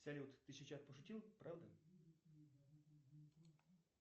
салют ты сейчас пошутил правда